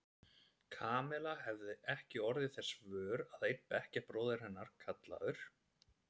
Kamilla hafði ekki orðið þess vör að einn bekkjarbróðir hennar, kallaður